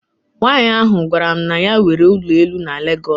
Nwanyị ahụ gwara m na ya nwere ụlọ elu na Lagos.